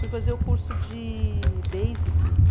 Fui fazer o curso de Basic